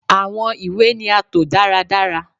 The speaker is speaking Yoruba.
Awọn iwe ni a to daradara